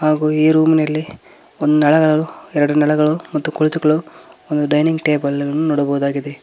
ಹಾಗೂ ಈ ರೂಮ್ನ ಲ್ಲಿ ಒಂದು ನಳಗಳು ಎರಡು ನಳಗಳು ಮತ್ತು ಕುಳಿತುಕೊಳ್ಳಲು ಒಂದು ಡೈನಿಂಗ್ ಟೇಬಲ್ ಅನ್ನು ನೋಡಬಹುದಾಗಿದೆ.